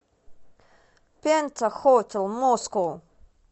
пентахотел москоу